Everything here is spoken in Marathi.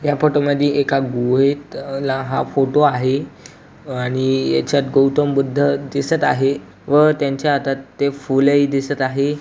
या फोटो मधी एका गुहेतला हा फोटो आहे अ आणि याच्यात गौतम बुद्ध दिसत आहे व त्यांच्या हातात ते फूल ही दिसत आहे.